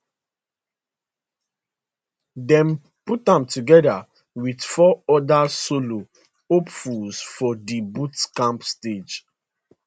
dem put am together with four other solo hopefuls for di boot camp stage